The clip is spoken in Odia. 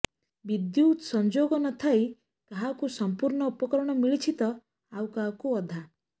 ବିଦ୍ୟୁତ୍ ସଂଯୋଗ ନଥାଇ କାହାକୁ ସଂପୂର୍ଣ୍ଣ ଉପକରଣ ମିଳିଛି ତ ଆଉ କାହାକୁ ଅଧା